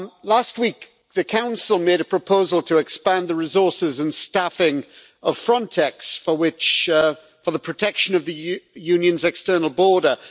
Last week, the Council made a proposal to expand the resources and staffing of Frontex for the protection of the Union's external border.